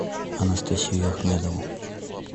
анастасию ахмедову